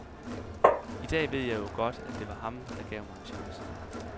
I dag ved jeg jo godt, at det var ham, der gav mig en chance.